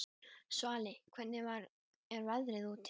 Svali, hvernig er veðrið úti?